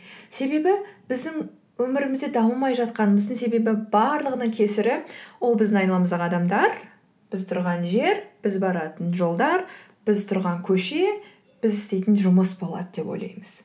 себебі біздің өмірімізде дамымай жатқанымыздың себебі барлығының кесірі ол біздің айналамыздағы адамдар біз тұрған жер біз баратын жолдар біз тұрған көше біз істейтін жүмыс болады деп ойлаймыз